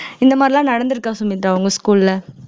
இந்த மாதிரி எல்லாம் நடந்திருக்கா சுமித்ரா உங்க school ல